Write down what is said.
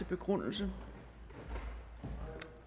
begrundelse